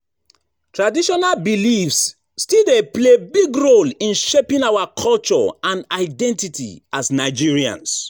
Traditional beliefs still dey play big role in shaping our culture and identity as Nigerians.